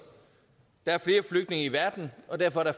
der er flere flygtninge i verden og derfor er